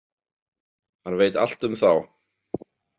Hann veit allt um þá.